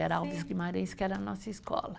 Era Alves Guimarães que era a nossa escola.